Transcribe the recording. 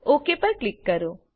okay પર click કરો